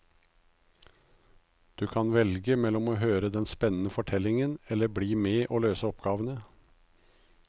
Du kan velge mellom å høre den spennende fortellingen eller bli med og løse oppgavene.